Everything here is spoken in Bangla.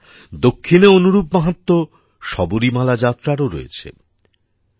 বন্ধুরা দক্ষিণে অনুরূপ মাহাত্ম্য শবরীমালা যাত্রারও রয়েছে